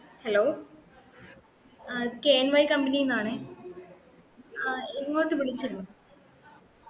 hello ah K N Y company ന്ന് ആണേ ആഹ് ഇങ്ങോട്ട് വിളിച്ചിരുന്നു ആഹ് okay mam